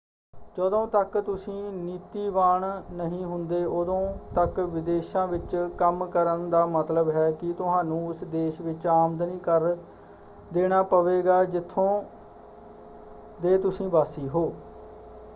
ਜਦੋਂ ਤੱਕ ਤੁਸੀਂ ਨੀਤੀਵਾਨ ਨਹੀਂ ਹੁੰਦੇ ਉਦੋਂ ਤੱਕ ਵਿਦੇਸ਼ਾਂ ਵਿੱਚ ਕੰਮ ਕਰਨ ਦਾ ਮਤਲਬ ਹੈ ਕਿ ਤੁਹਾਨੂੰ ਉਸ ਦੇਸ਼ ਵਿੱਚ ਆਮਦਨੀ ਕਰ ਦੇਣਾ ਪਵੇਗਾ ਜਿੱਥੋਂ ਦੇ ਤੁਸੀਂ ਵਾਸੀ ਹੋ।